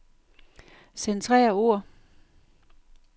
Centrer ord.